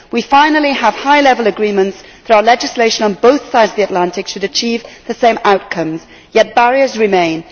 We finally have high level agreements that our legislation on both sides of the Atlantic should achieve the same outcomes, yet barriers remain.